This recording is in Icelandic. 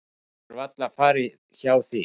Það getur varla farið hjá því.